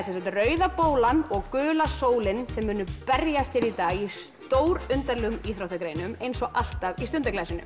Rauða bólan og gula sólin sem munu berjast í dag í íþróttagreinum eins og alltaf í